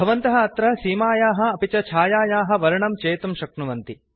भवन्तः अत्र सीमायाः अपि च छायायाः वर्णं चेतुं शक्नुवन्ति